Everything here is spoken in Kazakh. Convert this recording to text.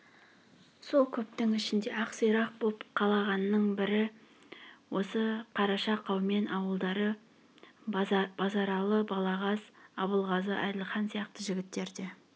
сол көптің ішінде ақ сирақ боп қалғанның бірі осы қараша қаумен ауылдары базаралы балағаз абылғазы әділхан сияқты жігіттерде